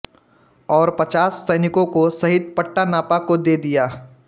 और पचास सैनिकों सहित पट्टा नापा को दे दिया